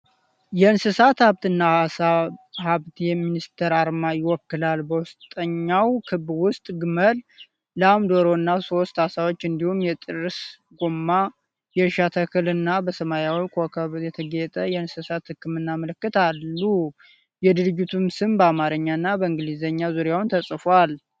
የእንስሳት ሀብትና ዓሳ ሀብት ሚኒስቴርን አርማ ይወክላል። በውስጠኛው ክብ ውስጥ ግመል፣ ላም፣ ዶሮ እና ሦስት ዓሳዎች እንዲሁም የጥርስ ጎማ፣ የእርሻ ተክል እና በሰማያዊ ኮከብ የተጌጠ የእንስሳት ህክምና ምልክት አሉ። የድርጅቱን ስም በአማርኛና በእንግሊዘኛ ዙሪያውን ተጽፏል።